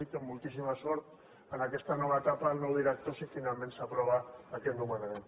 i moltíssima sort en aquesta nova etapa al nou director si finalment s’aprova aquest nomenament